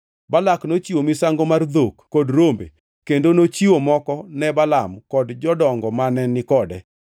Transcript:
Balak nochiwo misango mar dhok kod rombe, kendo nochiwo moko ne Balaam kod jodongo mane ni kode.